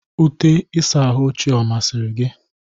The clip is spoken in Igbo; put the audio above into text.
Ute ịsa ahụ ochie ọ masịrị gị?